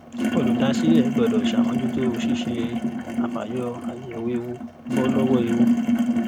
olùdásílẹ̀ gbọ́dọ̀ ṣàmójútó ṣíṣe àfàyọ/àyẹ̀wò ewu bọ́ lọ́wọ́ ewu.